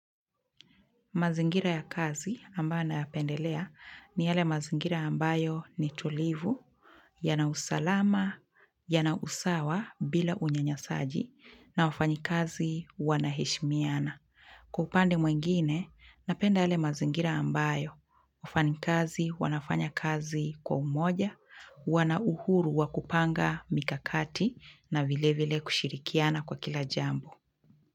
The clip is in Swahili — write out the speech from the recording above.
Mazingira ya kazi ambayo naya pendelea ni yale mazingira ambayo ni tulivu, yana usalama, yana usawa bila unyanyasaji na wafanyi kazi wanaheshmiana. Kwa upande mwingine, napenda yale mazingira ambayo, wafanyi kazi, wanafanya kazi kwa umoja, wana uhuru wakupanga mikakati na vile vile kushirikiana kwa kila jambo.